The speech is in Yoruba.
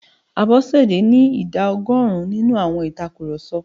Àbòsí ni ìdá ọgọ́rùn-ún nínú àwọn ìtakurọ̀sọ.